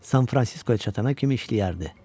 San-Fransiskoya çatana kimi işləyərdi.